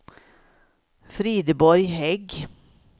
Frideborg Hägg